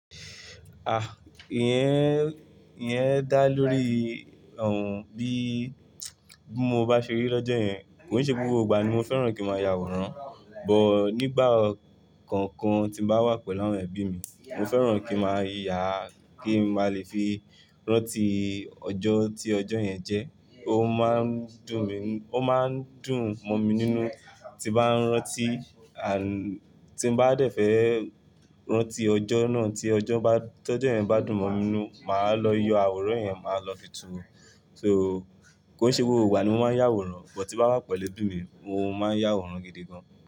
Ah! Iyẹn, iyẹn dá lórí, bí mo bá ṣe rí lọ́jọ́ yẹn. Kòn se gbogbo ìgbà ni mo fẹ́ràn kí n máa ya àwòrán, but nígbà kọkan tí n bá wà pẹ̀lú àwọn ẹbí mi, mo fẹ́ràn kí n máa yàá, kí n máa le fi rántí ọjọ́ tí ọjọ́ yẹn jẹ́. Ó máa ń dùn mi, ó máa ń dùn mọ́ mi nínú tí bá ń rántí, tí n bá dẹ̀fẹ̀ rántí ọjọ́ náà tí ọjọ́ bá, tọ́jọ́ yẹn bá dùn mọ́ mi nínú, màá lọ yọ àwòrán yẹn, màá lọ fi túnwó. So kò i se gbogbo ìgbà ni mo máa ń yàwòrán, but tí bá wà pẹ̀lú ẹbí mi, mo máa ń yàwòrán gidi gan.